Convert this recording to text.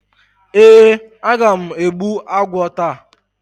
Ee, aga m egbbu agwo taa.